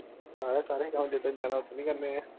ਜਿੱਦਣ ਜਾਣਾ ਓਦਣ ਹੀ ਖਾਣੇ ਹੈ